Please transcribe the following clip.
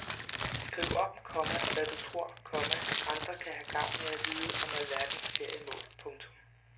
Skriv om, komma hvad du tror, komma andre kan have gavn af at vide om alverdens feriemål. punktum